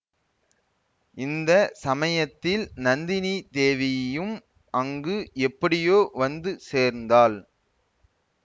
இந்த சமயத்தில் நந்தினி தேவியும் அங்கு எப்படியோ வந்து சேர்ந்தாள்